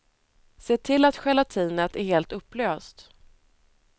Se till att gelatinet är helt upplöst.